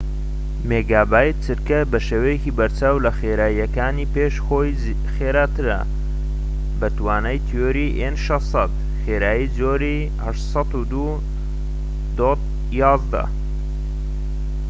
خێرایی جۆری 802.11‏‎ n ‎بەشێوەیەکی بەرچاو لە خێراییەکانی پێش خۆی خێراترە بە توانای تیۆری 600‏‎ مێگابیت/چرکە